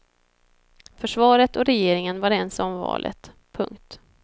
Försvaret och regeringen var ense om valet. punkt